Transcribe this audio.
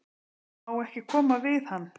Má ekki koma við hann?